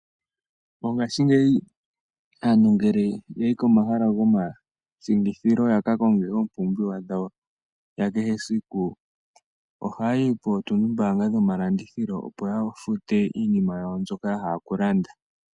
Mongashingeyi aantu ngele yayi komahala gomashingithilo ya ka konge oompumbiwa dhawo dha kehe esiku. Oha ya yi kootundimbaanga dhomalandithilo, opo ya futu iinima yawo mbyoka ya hala okulanda.